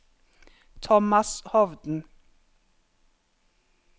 Thomas Hovden